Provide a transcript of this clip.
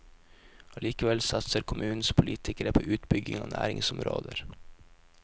Allikevel satser kommunens politikere på utbygging av næringsområder.